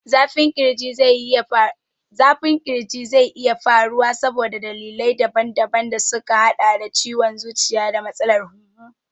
Zafin ƙirji zai iya faruwa saboda dalilai daban daban da suka haɗa da ciwon zuciya da matsalar hunhu.